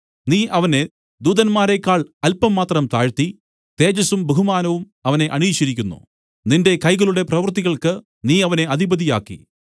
നീ അവനെ ദൂതന്മാരേക്കാൾ അല്പം മാത്രം താഴ്ത്തി തേജസ്സും ബഹുമാനവും അവനെ അണിയിച്ചിരിക്കുന്നു നിന്റെ കൈകളുടെ പ്രവൃത്തികൾക്കു നീ അവനെ അധിപതി ആക്കി